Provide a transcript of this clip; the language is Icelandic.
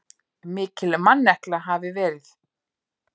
Mikil mannekla hafi verið.